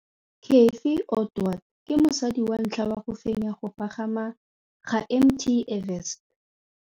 Cathy Odowd ke mosadi wa ntlha wa go fenya go pagama ga Mt Everest.